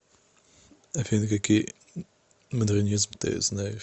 афина какие модернизм ты знаешь